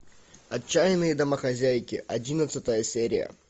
отчаянные домохозяйки одиннадцатая серия